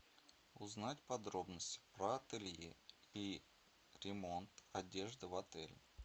узнать подробности про ателье и ремонт одежды в отеле